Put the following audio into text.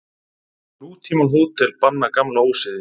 Nútímahótel banna gamla ósiði.